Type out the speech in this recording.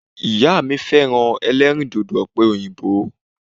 Ìyá mi féràn elérìndòdò òpè òyìnbó